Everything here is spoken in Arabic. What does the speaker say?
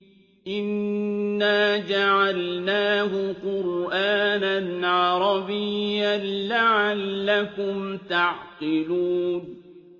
إِنَّا جَعَلْنَاهُ قُرْآنًا عَرَبِيًّا لَّعَلَّكُمْ تَعْقِلُونَ